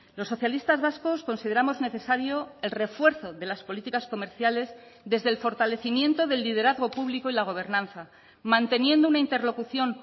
los socialistas vascos consideramos necesario el refuerzo de las políticas comerciales desde el fortalecimiento del liderazgo público y la gobernanza manteniendo una interlocución